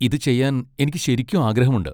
ഇത് ചെയ്യാൻ എനിക്ക് ശരിക്കും ആഗ്രഹമുണ്ട്.